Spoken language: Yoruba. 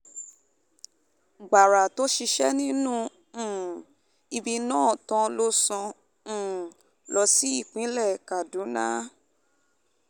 gbàrà tó sì ṣiṣẹ́ um ibi náà tán ló sá um lọ sí ìpínlẹ̀ kaduna